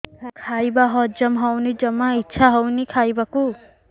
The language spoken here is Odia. ଖାଇବା ହଜମ ହଉନି ଜମା ଇଛା ହଉନି ଖାଇବାକୁ